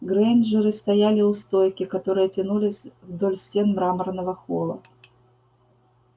грэйнджеры стояли у стойки которая тянулась вдоль стен мраморного холла